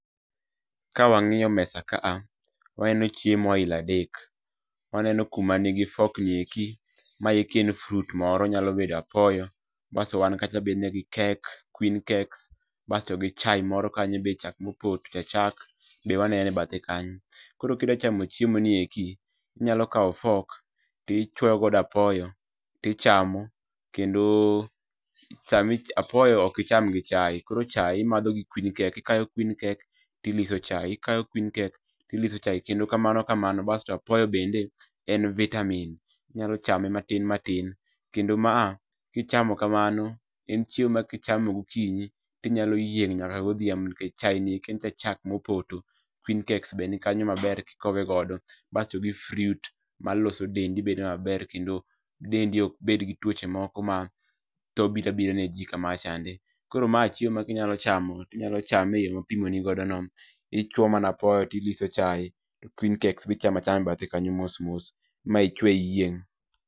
Ka wang'iyo mesa ka a, waneno chiemo aila adek, waneno kuma nigi fork ni eki maeki en fruit moro onyalo bedo apoyo baso wan kacha gi cake, queen cakes basto to gi chai moro kanyo be chak ma opoto, chach chak be waneno e bathe kanyo. Koro kidwa chamo chiemo ni eki inyalo kao fork tichwoyo godo apoyo to ichamo, kendo sami apoyo ok icham gi chai, koro chai imadho gi queen cake ikayo queen cake tiliso chai, ikayo queen cake tiliso chai kendo kamano kamano basto apoyo bende en vitamin inyalo chame matin matin, kendo ma a ka ichamo kamano en chiemo ma ka ichamo gokinyi tinyalo yieng' nyaka godhiambo, nikech chaini eki en cha chak mopoto, queen cakes be nikayo maber ka ikowe godo, baso gi fruit maloso dendei bedo maber, kendo dendi ok bed gi tuoche moko ma tho biro abira ne ji kamacha chande. Koro ma chiemo ma kinyalo chamo tinyalo chame e yo ma apimoni godo no . Ichuo mana apoyo to iliso chai, to queen cakes be ichamo achama e bathe kanyo mos mos, ma ichwe iyieng'.